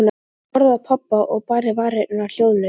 Hún horfði á pabba og bærði varirnar hljóðlaust.